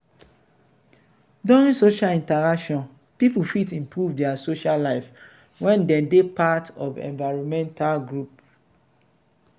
during social interaction people fit improve their social life when dem dey part of environmental groups